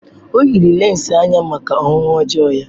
O yiri lense anya maka ọhụhụ ọjọọ ya.